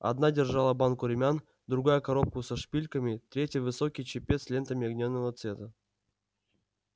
одна держала банку румян другая коробку со шпильками третья высокий чепец с лентами льняного цвета